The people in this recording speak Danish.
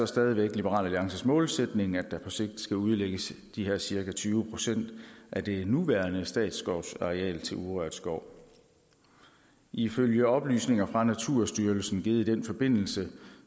stadig væk liberal alliances målsætning at der på sigt skal udlægges de her cirka tyve procent af det nuværende statsskovsareal til urørt skov ifølge oplysninger fra naturstyrelsen givet i den forbindelse